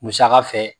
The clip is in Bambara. Musaka fɛ